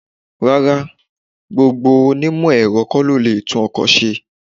Rárá, gbogbo ó onímọ̀-Ẹ̀rọ kó lo lè tún ọkọ̀ ṣe.